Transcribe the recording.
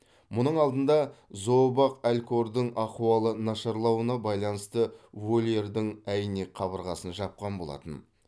мұның алдында зообақ алькордың ахуалы нашарлауына байланысты вольердің әйнек қабырғасын жапқан болатын